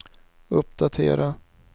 uppdatera